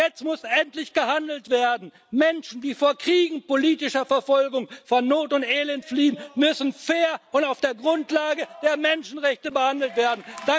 Jetzt muss endlich gehandelt werden! Menschen, die vor Kriegen und politischer Verfolgung, vor Not und Elend fliehen, müssen fair und auf der Grundlage der Menschenrechte behandelt werden.